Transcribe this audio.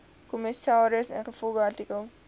kommissaris ingevolge artikel